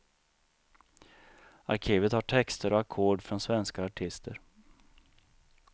Arkivet har texter och ackord från svenska artister.